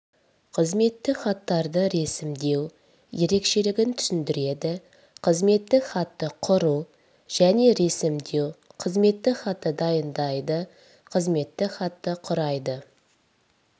қызметтік хаттарды ресімдеу ерекшелігін түсіндіреді қызметтік хатты құру және ресімдеу қызметтік хатты дайындайды қызметтік хатты құрайды